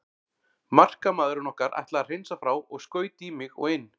Markamaðurinn okkar ætlaði að hreinsa frá og skaut í mig og inn.